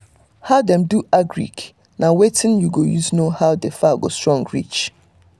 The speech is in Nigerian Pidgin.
how dem do agric na watin u go use know how d fowl go strong reach